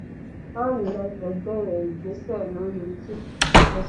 man united bẹ̀rẹ̀ ìgbésẹ̀ lórí i